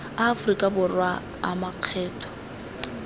a aforika borwa a makgetho